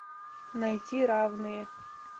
найти равные